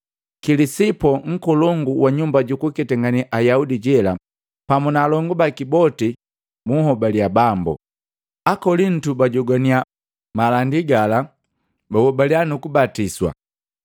Kilisipo, nkolongu wa nyumba jukuketangane Ayaudi jela, pamu naalongu baki boti buhobaliya Bambu. Akolintu bajogwaniya malandi gala, bahobaliya nukubatiswa.